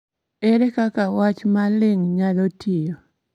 Ere kaka wach ma ling� nyalo tiyo?